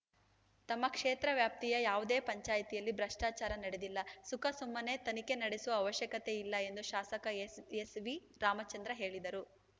ತಮ್ಮ ಕ್ಷೇತ್ರ ವ್ಯಾಪ್ತಿಯ ಯಾವುದೇ ಪಂಚಾಯಿತಿಯಲ್ಲಿ ಭ್ರಷ್ಟಾಚಾರ ನಡೆದಿಲ್ಲ ಸುಖಾಸುಮ್ಮನೇ ತನಿಖೆ ನಡೆಸುವ ಅವಶ್ಯಕತೆಯಿಲ್ಲ ಎಂದು ಶಾಸಕ ಎಸ್‌ ಎಸ್ ವಿರಾಮಚಂದ್ರ ಹೇಳಿದರು